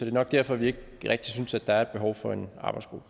er nok derfor vi ikke rigtig synes at der er et behov for en arbejdsgruppe